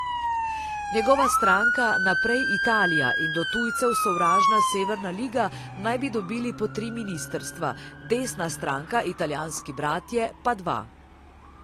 Njegova stranka Naprej Italija in do tujcev sovražna Severna liga naj bi dobili po tri ministrstva, desna stranka Italijanski bratje pa dva.